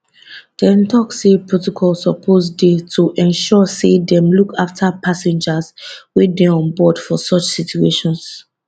dem tok say protocol suppose dey to ensure say dem look afta passengers wey dey onboard for such situations